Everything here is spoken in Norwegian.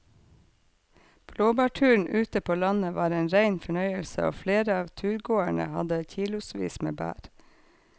Blåbærturen ute på landet var en rein fornøyelse og flere av turgåerene hadde kilosvis med bær.